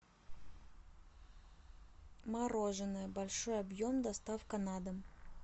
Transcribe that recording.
мороженое большой объем доставка на дом